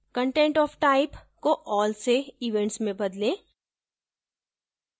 content of type को all से events में बदलें